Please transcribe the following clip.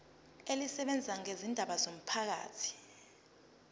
elisebenza ngezindaba zomphakathi